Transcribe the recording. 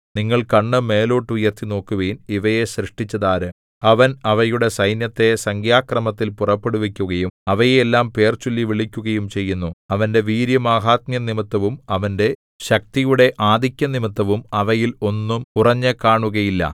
നിങ്ങൾ കണ്ണ് മേലോട്ട് ഉയർത്തി നോക്കുവിൻ ഇവയെ സൃഷ്ടിച്ചതാര് അവൻ അവയുടെ സൈന്യത്തെ സംഖ്യാക്രമത്തിൽ പുറപ്പെടുവിക്കുകയും അവയെ എല്ലാം പേർചൊല്ലി വിളിക്കുകയും ചെയ്യുന്നു അവന്റെ വീര്യമാഹാത്മ്യംനിമിത്തവും അവന്റെ ശക്തിയുടെ ആധിക്യംനിമിത്തവും അവയിൽ ഒന്നും കുറഞ്ഞു കാണുകയില്ല